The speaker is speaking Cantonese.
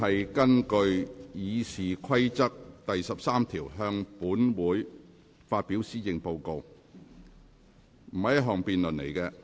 行政長官根據《議事規則》第13條向本會發表施政報告並不是一項辯論。